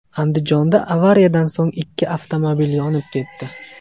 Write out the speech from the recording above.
Andijonda avariyadan so‘ng ikki avtomobil yonib ketdi .